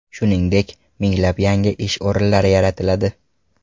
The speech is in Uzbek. Shuningdek, minglab yangi ish o‘rinlari yaratiladi.